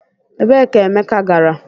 Ebee ka Emeka gara?